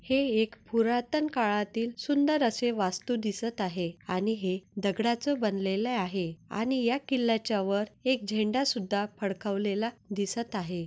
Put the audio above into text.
हे एक पुरातन काळातिल सुंदर असे वास्तु दिसत आहे आणि है दगडाच बनलेले आहे आणि या किल्ल्याच्या वर एक झेंडा सुधा फडकवलेला दिसत आहे.